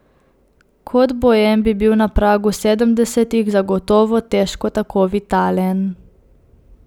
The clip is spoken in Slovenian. Kot boem bi bil na pragu sedemdesetih zagotovo težko tako vitalen.